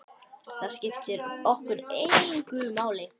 Það skiptir okkur engu máli.